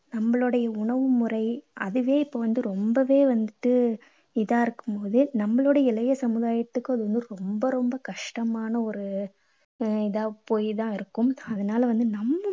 நம்மளுடைய உணவு முறை அதுவே இப்போ வந்து ரொம்பவே வந்துட்டு இதா இருக்கும் போது நம்மாளோட இளைய சமுதாயத்துக்கு அது ரொம்ப ரொம்ப கஷ்டமான ஒரு இதா போயி தான் இருக்கும். அதனால வந்து நம்ம